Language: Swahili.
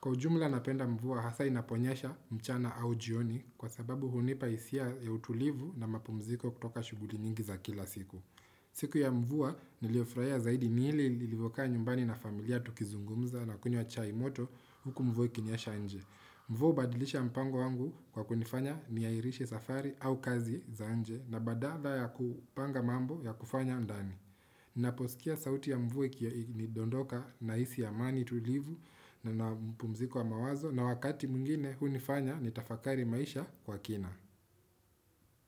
Kwa ujumla napenda mvua hasa inaponyasha mchana au jioni kwa sababu hunipa hisia ya utulivu na mapumziko kutoka shughuli nyingi za kila siku. Siku ya mvua niliyo furahia zaidi ni ile nilivyokaa nyumbani na familia tukizungumza na kunyw achai moto huku mvua ikinyasha nje. Mvua hubadilisha mpango wangu kwa kunifanya niha irishe safari au kazi zanje na badada ya kupanga mambo ya kufanya ndani. Ninaposikia sauti ya mvua ikiwa ina dondoka na hisi a mani tulivu na ni mpumziko wa mawazo na wakati mwingine hu nifanya ni tafakari maisha kwa kina.